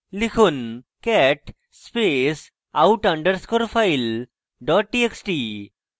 লিখুন cat space out underscore file dot txt